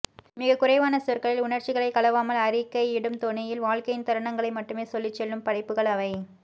மிகக்குறைவான சொற்களில் உணர்ச்சிகள் கலவாமல் அறிக்கையிடும் தொனியில் வாழ்க்கையின் தருணங்களை மட்டுமே சொல்லிச்செல்லும் படைப்புகள் அவை